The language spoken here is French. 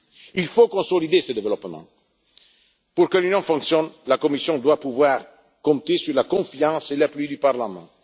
Il faut consolider ce développement. Pour que l'Union fonctionne, la Commission doit pouvoir compter sur la confiance et l'appui du Parlement.